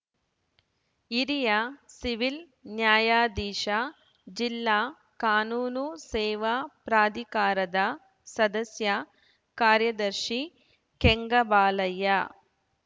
ಹಿರಿಯ ಸಿವಿಲ್‌ ನ್ಯಾಯಾಧೀಶ ಜಿಲ್ಲಾ ಕಾನೂನು ಸೇವಾ ಪ್ರಾಧಿಕಾರದ ಸದಸ್ಯ ಕಾರ್ಯದರ್ಶಿ ಕೆಂಗಬಾಲಯ್ಯ